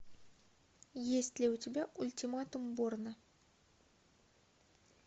есть ли у тебя ультиматум борна